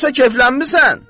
Yoxsa keflənmisən?